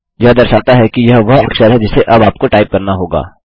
यह दर्शाता है कि यह वह अक्षर है जिसे अब आपको टाइप करना होगा